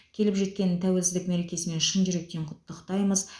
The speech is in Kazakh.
келіп жеткен тәуелсіздік мерекесімен шын жүректен құттықтаймыз